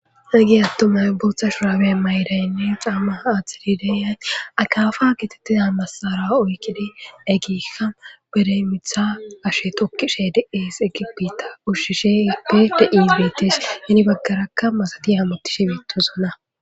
ha gi attomay bootha shurawe maydaynne camma aatxidi deyay akafa gitettiza massara oykkidi eggiikka beremitha ashe tokkishe deihis egibita ushshishe eppe de ibeetes hini baggarakka masati hamuttishi mituzona